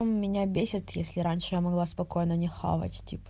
меня бесит если раньше я могла спокойно по хавать